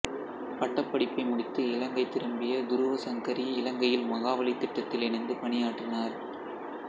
பட்டப்படிப்பை முடித்து இலங்கை திரும்பிய துருவசங்கரி இலங்கையில் மகாவலித் திட்டத்தில் இணைந்து பணியாற்றினார்